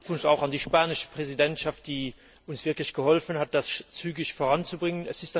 Glückwunsch auch an die spanische Präsidentschaft, die uns wirklich geholfen hat, das zügig voranzubringen!